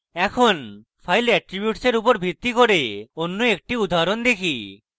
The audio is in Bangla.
এখন file এট্রীবিউটসের উপর ভিত্তি করে অন্য একটি উদাহরণ দেখি